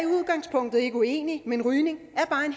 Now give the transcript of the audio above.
er ikke uenig men rygning